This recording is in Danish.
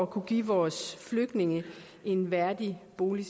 kunne give vores flygtninge en værdig bolig